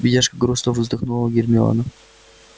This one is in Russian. бедняжка грустно вздохнула гермиона